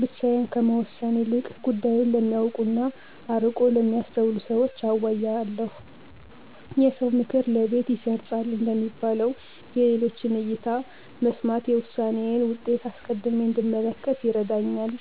ብቻዬን ከመወሰን ይልቅ ጉዳዩን ለሚያውቁና አርቆ ለሚያስተውሉ ሰዎች አዋያለሁ። "የሰው ምክር ለቤት ይሰርፃል" እንደሚባለው፣ የሌሎችን እይታ መስማት የውሳኔዬን ውጤት አስቀድሜ እንድመለከት ይረዳኛል።